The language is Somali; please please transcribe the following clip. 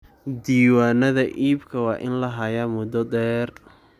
Diiwaanada iibka waa in la hayaa muddo dheer.